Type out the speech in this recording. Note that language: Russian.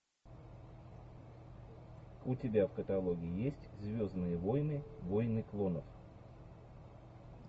у тебя в каталоге есть звездные войны войны клонов